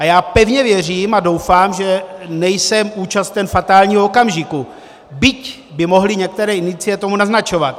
A já pevně věřím a doufám, že nejsem účasten fatálního okamžiku, byť by mohly některé indicie tomu naznačovat.